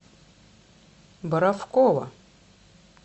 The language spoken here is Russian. боровкова